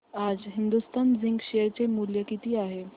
आज Hindustan Zinc share चे मूल्य किती आहे